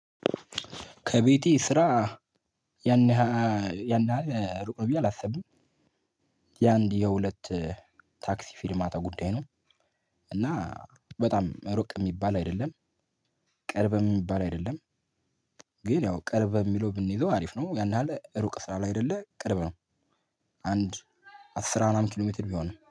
ከቤቴ ስራ ያን ያህል ሩቅ ነው ብዬ አላስብም። የአንድ የሁለት ታክሲ ፊሪማታ ጉዳይ ነው። እና በጣም ሩቅ የሚባል አይደለም። ቅርብ የሚባል አይደለም። ግን ያው ቅርብ የሚለው ብንይዘው አሪፍ ነው ያን ያህል ሩቅ ስላላደለ ቅርብ ነው። አንድ አስራራት ኪሎ ሜትር ቢሆን ነው